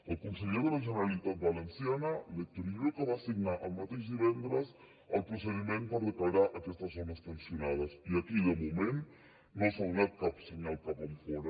el conseller de la generalitat valenciana l’héctor illueca va signar el mateix divendres el procediment per declarar aquestes zones tensionades i aquí de moment no s’ha donat cap senyal cap enfora